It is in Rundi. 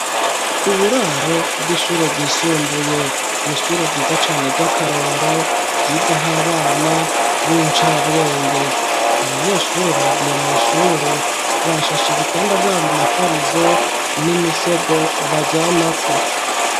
Uburaro bw'ishure ryisumbuye nishure ryiza cane ry'akarorero ryigaho abana b'incabwenge abanyeshure bagiye mw'ishure bashasha ibitanda vyabo mifarizo n'imisego baryamako.